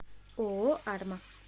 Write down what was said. ооо арма